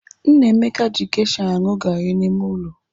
Nnameka ji gesha anụ garị n'ime ụlọ.